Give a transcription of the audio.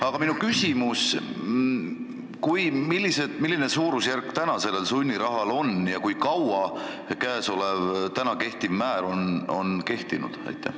Aga minu küsimus on see: milline suurusjärk täna sellel sunnirahal on ja kui kaua kehtiv määr on kehtinud?